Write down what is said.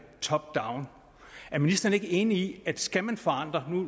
top down er ministeren ikke enig i at skal man forandre